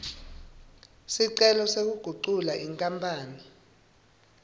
sicelo sekugucula inkapani